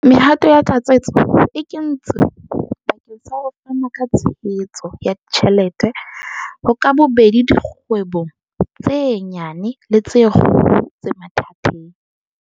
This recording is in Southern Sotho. Mehato ya tlatsetso e kentswe bakeng sa ho fana ka tshehetso ya ditjhelete ho ka bobedi dikgwebo tse nyane le tse kgolo tse mathateng.